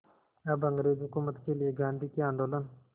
अब अंग्रेज़ हुकूमत के लिए गांधी के आंदोलन